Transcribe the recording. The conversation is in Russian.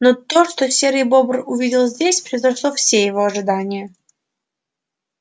но то что серый бобр увидел здесь превзошло все его ожидания